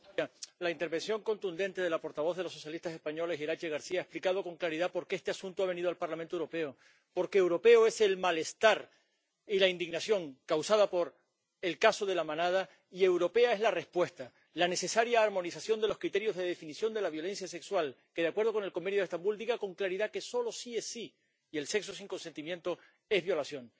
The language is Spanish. Señor presidente, la intervención contundente de la portavoz de los socialistas españoles, Iratxe García, ha explicado con claridad por qué este asunto ha venido al Parlamento Europeo porque europeos son el malestar y la indignación causados por el caso de La Manada y europea es la respuesta, la necesaria armonización de los criterios de definición de la violencia sexual, que, de acuerdo con el Convenio de Estambul, diga con claridad que solo sí es sí y el sexo sin consentimiento es violación.